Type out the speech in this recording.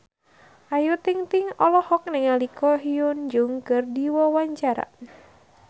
Ayu Ting-ting olohok ningali Ko Hyun Jung keur diwawancara